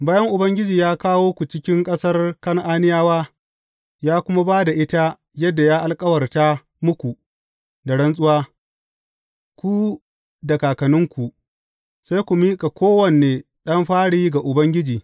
Bayan Ubangiji ya kawo ku cikin ƙasar Kan’aniyawa, ya kuma ba da ita yadda ya alkawarta muku da rantsuwa, ku da kakanninku, sai ku miƙa kowane ɗan fari ga Ubangiji.